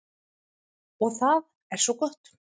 Og það er svo gott.